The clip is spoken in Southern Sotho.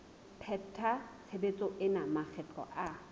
pheta tshebetso ena makgetlo a